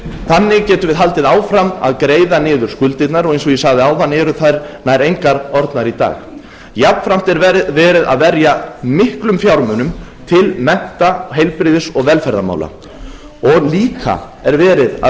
þannig getum við haldið áfram að greiða niður skuldirnar og eins og ég sagði áðan eru þær nær engar orðnar í dag jafnframt er verið að verja miklum fjármunum til mennta heilbrigðis og velferðarmála og líka er verið að